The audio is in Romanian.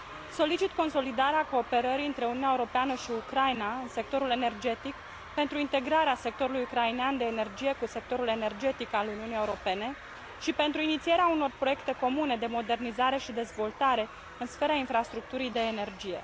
Solicit consolidarea cooperării între Uniunea Europeană și Ucraina în sectorul energetic pentru integrarea sectorului ucrainean de energie cu sectorul energetic al Uniunii Europene și pentru inițierea unor proiecte comune de modernizare și dezvoltare în sfera infrastructurii de energie.